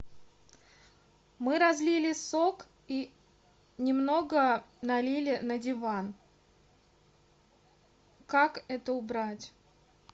мы разлили сок и немного налили на диван как это убрать